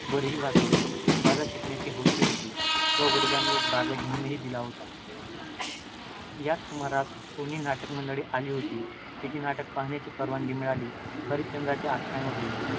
वरही बसविली. बाजा शिकण्याची हौस होती, व वडिलांनी एक बाजाही घेऊन दिला होता. याच सुमारास कोणी नाटकमंडळी आली होती. तिचे नाटक पाहण्याची परवानगी मिळाली. हरिश्चंद्राचे आख्यान होते.